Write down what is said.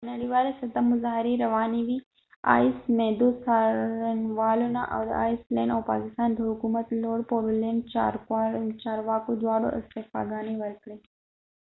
په نړیواله سطحه مظاهرې روانی وي ، معددو څارنوالانو ،او د آیس لینډ ice land او پاکستان د حکومت لوړ پوړو چارواکو دواړو استعفا ګانی ورکړي